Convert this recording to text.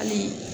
Hali